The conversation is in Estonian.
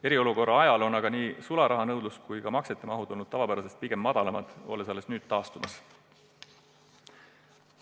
Eriolukorra ajal olid aga nii sularahanõudlus kui ka maksete mahud pigem tavapärasest väiksemad, alles nüüd on need hakanud taastuma.